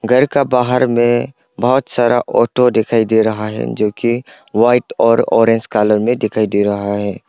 घर का बाहर में बहुत सारा ऑटो दिखाई दे रहा है जो की वाइट और कलर में दिखाई दे रहा है।